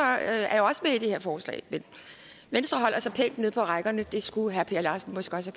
er det her forslag men venstre holder sig pænt nede på rækkerne det skulle herre per larsen måske også